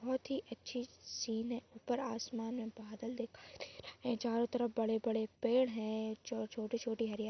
बोहोत ही अच्छी सीन हैं ऊपर आसमान में बादल दिखाई दे रहे है चारो तरफ बड़े बड़े पेड़ हैं जो छोटी छोटी हरी हरी--